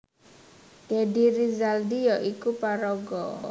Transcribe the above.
Deddy Rizaldi ya iku paraga